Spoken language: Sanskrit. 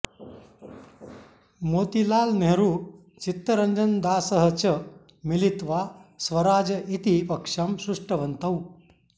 मोतिलाल् नेह्रू चित्तरञ्जनदासः च मिलित्वा स्वराज् इति पक्षं सृष्टवन्तौ